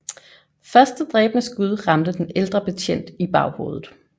Første dræbende skud ramte den ældre betjent i baghovedet